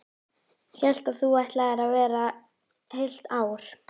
Þórir Guðmundsson: Hvaða skrifstofa er þetta hérna?